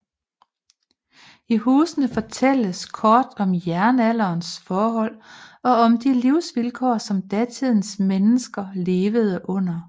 I husene fortælles kort om jernalderens forhold og om de livsvilkår som datidens mennesker levede under